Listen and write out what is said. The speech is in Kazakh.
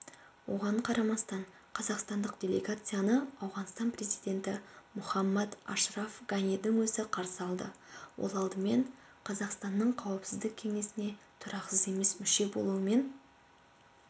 оған қарамастан қазақстандық делегацияны ауғанстан президенті мұхаммад ашраф ганидің өзі қарсы алды ол алдымен қазақстанның қауіпсіздік кеңесіне тұрақсыз емес мүшесі болуымен